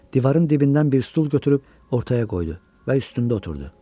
Divarın dibindən bir stul götürüb ortaya qoydu və üstündə oturdu.